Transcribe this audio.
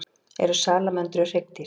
Eru salamöndrur hryggdýr?